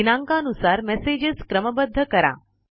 दिनांका नुसार मेसेजेस क्रमबद्ध करा